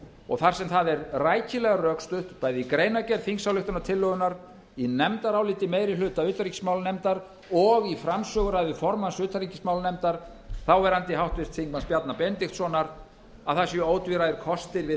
og þar sem það er rækilega rökstutt bæði í greinargerð þingsályktunartillögunnar í nefndaráliti meiri hluta u utanríkismálanefndar og í framsöguræðu formanns utanríkismálanefndar þáverandi háttvirtur þingmaður bjarna benediktssonar að það séu ótvíræðir kostir við